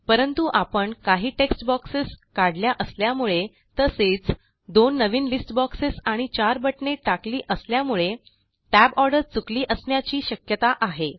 परंतु आपण काही टेक्स्ट बॉक्सेस काढल्या असल्यामुळे तसेच दोन नवीन लिस्ट बॉक्सेस आणि चार बटणे टाकली असल्यामुळे tab ऑर्डर चुकली असण्याची शक्यता आहे